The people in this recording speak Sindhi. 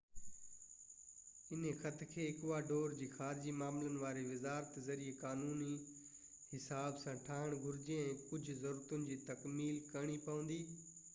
هن خط کي ايڪواڊور جي خارجي معاملن واري وزارت ذريعي قانوني حساب سان ٺاهڻ گهرجي ۽ ڪجهہ ضرورتن جي تعميل ڪرڻي پوندي